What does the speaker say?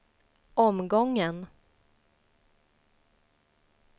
omgången